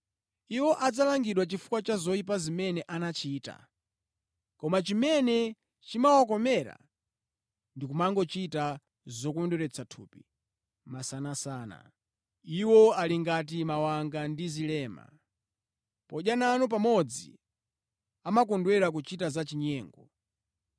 Iwo adzalangidwa chifukwa cha zoyipa zimene anachita. Koma chimene chimawakomera ndi kumangochita zokondweretsa thupi masanasana. Iwo ali ngati mawanga ndi zilema. Podya nanu pamodzi amakondwera kuchita za chinyengo.